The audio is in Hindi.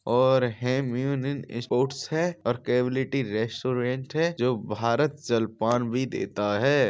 और हम्युनीन स्पोर्ट्स है और केविलिटी रेस्टोरेंट है जो भारत जलपान भी देता है।